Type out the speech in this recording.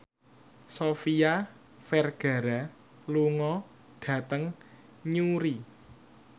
Sofia Vergara lunga dhateng Newry